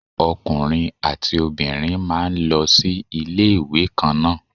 Ọkùnrin àti obìnrin máa ń lọ sí ilé ìwé kan náà.